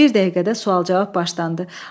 Bir dəqiqədə sual-cavab başlandı.